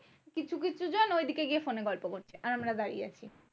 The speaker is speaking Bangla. কিছু কিছু জন ঐদিকে গিয়ে ফোনে গল্প করছে আর আমরা দাঁড়িয়ে আছি।